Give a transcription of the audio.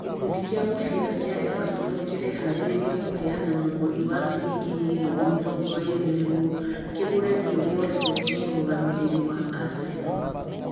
Gĩkundi kĩa mũbira kĩa Everton kĩreharĩirie kũheana mũhothi wa ciringi mirioni mĩrongo ĩrĩ nĩguo kĩgũre Theo Walcott, mũrũgamĩrĩri wa Arsenal.